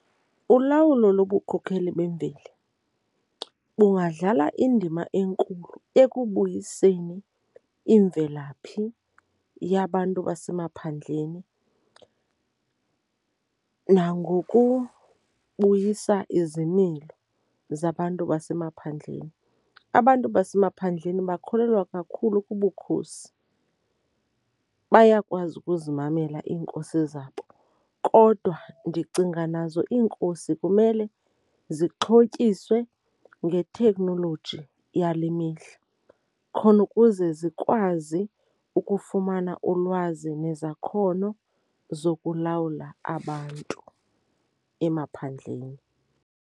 Ulawulo lobukhokheli bemveli bungadlala indima enkulu ekubuyiseni imvelaphi yabantu basemaphandleni nangokubuyisa izimilo zabantu basemaphandleni. Abantu basemaphandleni bakholelwa kakhulu kubukhosi, bayakwazi ukuzimamela iinkosi zabo. Kodwa ndicinga nazo iinkosi kumele zixhotyiswe ngethekhnoloji yale mihla khona ukuze zikwazi ukufumana ulwazi nezakhono zokulawula abantu emaphandleni.